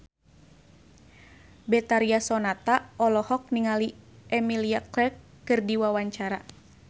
Betharia Sonata olohok ningali Emilia Clarke keur diwawancara